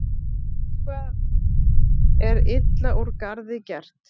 Eitthvað er illa úr garði gert